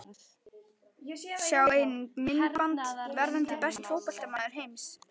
Sjá einnig: Myndband: Verðandi besti fótboltamaður heims?